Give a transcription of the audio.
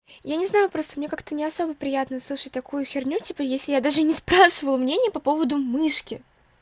я не знаю просто мне как-то не особо приятно слышать такую херню типа если я даже не спрашиваю мнение по поводу мышки